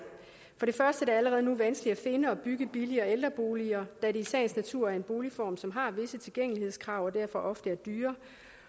det allerede nu vanskeligt at finde og bygge billigere ældreboliger da det i sagens natur er en boligform som har visse tilgængelighedskrav og derfor ofte er dyrere